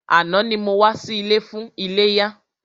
Àná ni mo wá sí ilé fún iléyá.